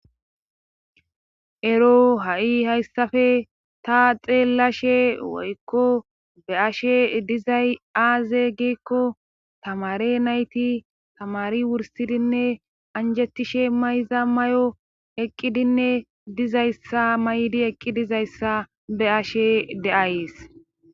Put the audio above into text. ero ha'i hayssappe ta xeelashe woykko be'ashe dizay aaze giikko tamaare nayti tamaari wursidinne anjettishe mayiza may'o eqqidinne dizayssa maydi eqqi dizayssa be'ashe detays